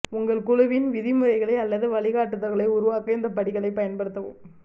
உங்கள் குழுவின் விதிமுறைகளை அல்லது வழிகாட்டுதல்களை உருவாக்க இந்த படிகளைப் பயன்படுத்தவும்